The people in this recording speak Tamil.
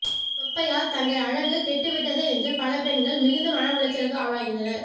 தொப்பையால் தங்கள் அழுகு கெட்டுவிட்டதே என்று பல பெண்கள் மிகுந்த மன உளைச்சலுக்கு ஆளாகின்றனர்